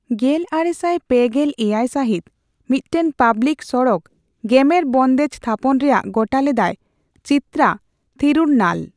ᱜᱮᱞᱟᱨᱮᱥᱟᱭ ᱯᱮᱜᱮᱞ ᱮᱭᱟᱭ ᱥᱟᱹᱦᱤᱛ ᱢᱤᱫᱴᱟᱝ ᱯᱟᱵᱽᱞᱤᱠ ᱥᱚᱲᱚᱠ ᱜᱮᱢᱮᱨ ᱵᱚᱱᱫᱮᱡᱽ ᱛᱷᱟᱯᱚᱱ ᱨᱮᱭᱟᱜ ᱜᱚᱴᱟ ᱞᱮᱫᱟᱭ ᱪᱤᱛᱛᱨᱟ ᱛᱷᱤᱨᱩᱱᱱᱟᱞ ᱾